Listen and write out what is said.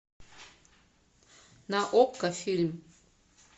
на окко фильм